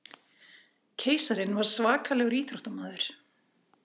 Keisarinn var svakalegur íþróttamaður.